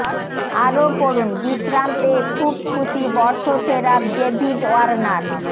আরও পড়ুন বিশ্রাম পেয়ে খুব খুশি বর্ষসেরা ডেভিড ওয়ার্নার